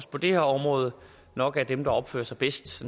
på det her område nok er dem der opfører sig bedst